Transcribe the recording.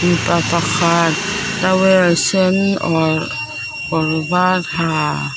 mipa pakhat towel sen awrh kawr var ha--